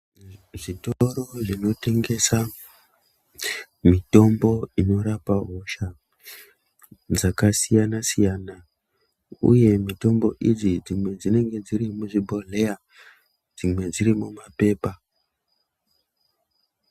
Zvitoro zvinotengesa mitombo inorapa hosha dzakasiyana siyana uye mitombo idzi dzimwe dzinenge dziri muzvibhodhleya dzimwe dziri mumapepa.